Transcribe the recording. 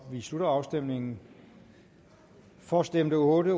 vi slutter afstemningen for stemte otte